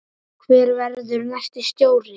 Hver verður næsti stjóri?